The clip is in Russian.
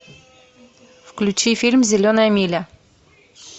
включи фильм зеленая миля